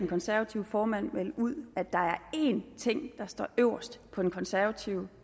konservative formand melde ud at der er en ting der står øverst på den konservative